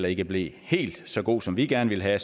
ikke blev helt så god som vi gerne ville have